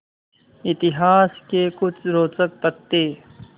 इतिहास के कुछ रोचक तथ्य